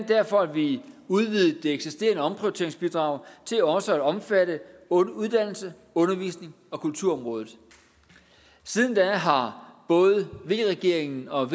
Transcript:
derfor at vi udvidede det eksisterende omprioriteringsbidrag til også at omfatte uddannelses undervisnings og kulturområdet siden da har både v regeringen og